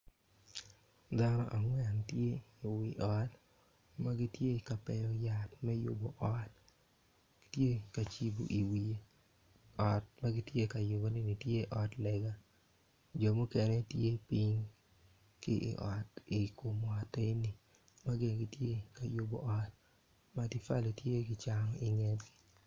Dano angwen tye ka wi ot ma gitye ka peyo yat me yubo wi ot tye ka cibo iwiye ot ma gitye ka yuboneni tye ot lega jo mukene tye piny ki i ot i kom ot enoni ma gin gitye ka yubo ot matafali tye kicano iye.